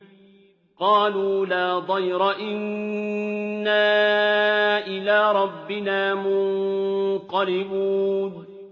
قَالُوا لَا ضَيْرَ ۖ إِنَّا إِلَىٰ رَبِّنَا مُنقَلِبُونَ